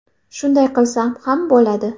Shunday qilsam ham bo‘ladi.